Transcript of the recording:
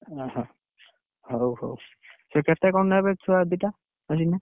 ଅହ! ହଉ ହଉ ସେ କେତେ କଣ ନେବେ ଛୁଆ ଦିଟା ଖେଳିଲେ?